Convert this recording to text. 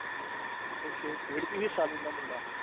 ਤੇ ਕੇਹੇ ਖੇਡ ਚ ਨੀ ਸਾਜਨ ਦਾ ਮੁੰਡਾ